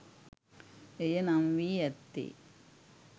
එය නම් වී ඇත්තේ